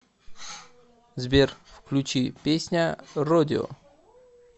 сбер включи песня родео